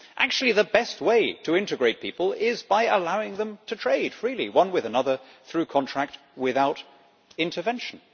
Actually, the best way to integrate people is by allowing them to trade freely, one with another, through contract, without intervention.